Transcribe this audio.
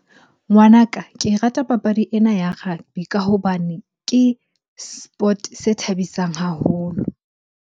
Ngwanaka, me rata papadi ena ya rugby ka hobane ke sport-e se thabisang haholo.